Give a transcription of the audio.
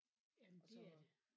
Jamen det er det